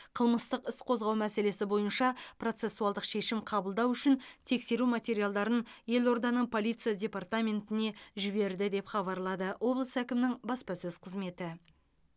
қылмыстық іс қозғау мәселесі бойынша процессуалдық шешім қабылдау үшін тексеру материалдарын елорданың полиция департаментіне жіберді деп хабарлады облыс әкімінің баспасөз қызметі